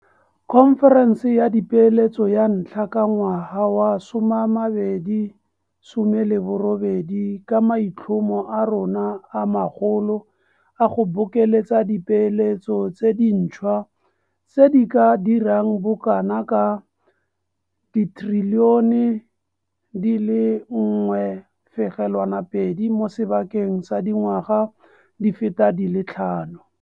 Khonferense ya Dipeeletso ya ntlha ka ngwaga wa 2018 ka maitlhomo a rona a magolo a go bokeletsa dipeeletso tse dintšhwa tse di ka dirang bokanaka R1.2 trilione mo sebakeng sa dingwaga di feta di le tlhano.